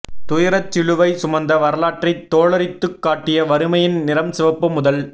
துயரச் சிலுவை சுமந்த வரலாற்றைத் தோலுரித்துக் காட்டிய வறுமையின் நிறம் சிவப்பு முதல்